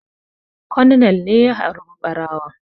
Colonel ne ya harba ɓarawon